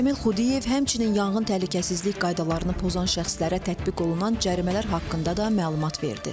Cəmil Xudiyev həmçinin yanğın təhlükəsizlik qaydalarını pozan şəxslərə tətbiq olunan cərimələr haqqında da məlumat verdi.